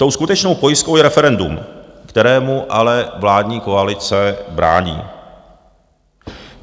Tou skutečnou pojistkou je referendum, kterému ale vládní koalice brání.